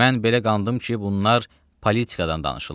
Mən belə qandım ki, bunlar politikadan danışırlar.